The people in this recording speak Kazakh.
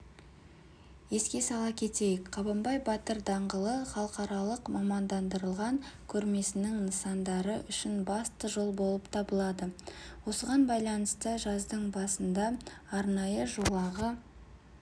еске сала кетейік қабанбай батыр даңғылы халықаралық мамандандырылған көрмесінің нысандары үшін басты жол болып табылады осыған байланысты жаздың басында арнайы жолағы